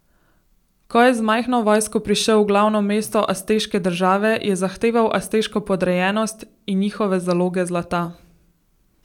Ko je z majhno vojsko prišel v glavno mesto azteške države, je zahteval azteško podrejenost in njihove zaloge zlata.